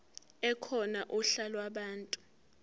ekhona uhla lwabantu